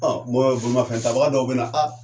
Ɔ bɔn bolimafɛn tabaga dɔw bena a